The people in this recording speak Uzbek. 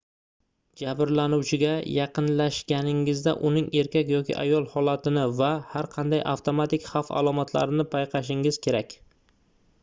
jabrlanuvchiga yaqinlashganingizda uning erkak yoki ayol holatini va har qanday avtomatik xavf alomatlarini payqashingiz kerak